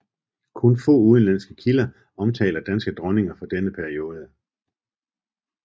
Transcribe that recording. Kun få udenlandske kilder omtaler danske dronninger fra denne periode